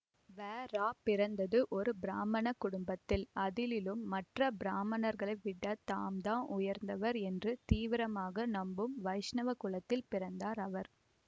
வரா பிறந்தது ஒரு பிராமண குடும்பத்தில் அதிலும் மற்ற பிராமணர்களை விட தாம் தான் உயர்ந்தவர் என்று தீவிரமாக நம்பும் வைஷ்ணவ குலத்தில் பிறந்தார் அவர்